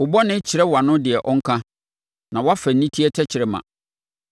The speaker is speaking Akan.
Wo bɔne kyerɛ wʼano deɛ ɔnka; na woafa aniteɛ tɛkrɛma.